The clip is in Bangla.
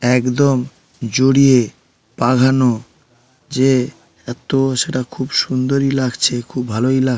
একদম জড়িয়ে বাধানো যে তো সেটা খুব সুন্দরই লাগছে । খুব ভালোই লাগ--